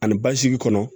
Ani basigi kɔnɔ